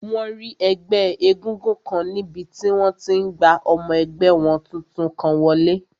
Wọ́n rí ẹgbẹ́ égúngún kan níbi tí wọ́n ti n gba ọmọ ẹgbẹ́ wọn tuntun kan wọlé